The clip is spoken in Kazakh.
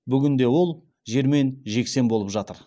бүгінде ол жермен жексен болып жатыр